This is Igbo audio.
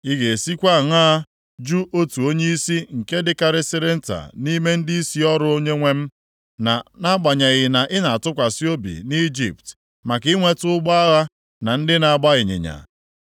Ị ga-esi kwa aṅaa jụ otu onyeisi nke dịkarịsịrị nta nʼime ndịisi ọrụ onyenwe m, na-agbanyeghịkwa na i na-atụkwasị obi nʼIjipt maka inweta ụgbọ agha na ndị na-agba ịnyịnya?